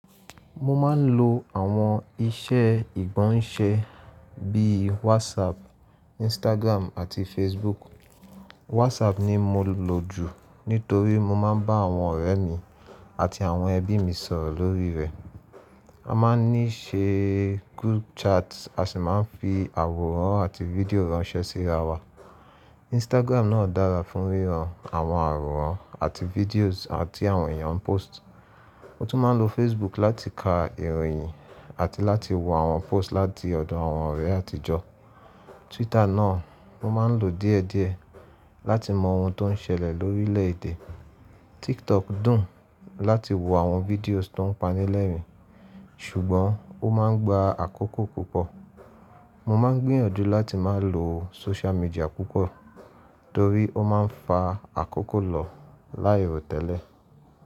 Mo máa ń lo àwọn iṣẹ́ igbọnṣe bíi whatsapp Instagram àti facebook WhatsApp ni mo lò jù nítorí mo máa ń bá àwọn ọ̀rẹ́ mi àti àwọn ẹbí mi sọ̀rọ̀ lórí rẹ̀. A máa ń ní ṣe group chat a sì máa ń fi àwòrán àti fídíò ránṣẹ́ sí ara wa. Instagram náà dára fún wíran àwọn àwòrán àti fídíòsì tí àwọn èèyàn ń post. Mo tún máa ń lo Facebook láti ka ìròyìn àti láti wo àwọn post láti ọ̀dọ̀ àwọn ọ̀rẹ́ àtijọ́. Twitter náà mo máa ń lò díẹ̀díẹ̀ láti mọ ohun tó ń ṣẹlẹ̀ lórílẹ̀ èdè. TikTok dùn láti wo àwọn fídíòsì tó ń panilẹ́rìn, ṣùgbọ́n ó máa ń gba àkókò púpọ̀. Mo máa ń gbìyànjú láti máa lo social media púpọ̀ torí ó máa ń fa àkókò lọ láìró tẹ́lẹ̀.